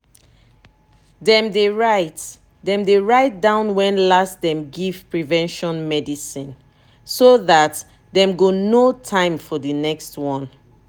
dem dey write dem dey write down when last dem give prevention medicine so that dem go know time for the next one.